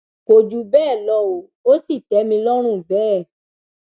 kò jù bẹẹ lọ o ò sì tẹ mi lọrùn bẹẹ